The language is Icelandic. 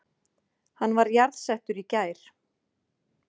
Hann var jarðsettur í gær